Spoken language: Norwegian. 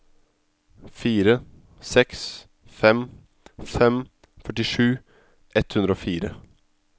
fire seks fem fem førtisju ett hundre og fire